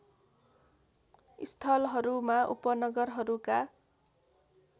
स्थलहरूमा उपनगरहरूका